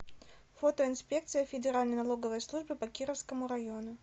фото инспекция федеральной налоговой службы по кировскому району